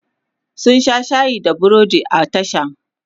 mun Sha shayi da burodi a tashan